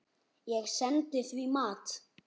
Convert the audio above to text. Ég sendi því mat.